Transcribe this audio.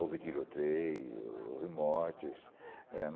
Houve tiroteio, houve mortes. É